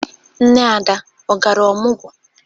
Nne Ada ọ gara ọmọgwụ?